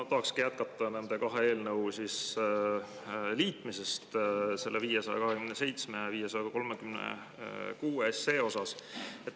Ma tahan jätkata nende kahe eelnõu, 527 ja 536, liitmise.